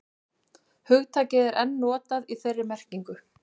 hugtakið er enn notað í þeirri merkingu